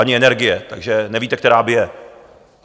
Ani energie, takže nevíte, která bije.